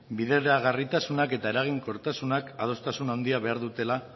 bideragarritasunak eta eraginkortasunak adostasun handiak behar dutela